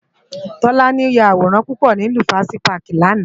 Tolani yá àwórán púpò ni Lufasi pàkí làná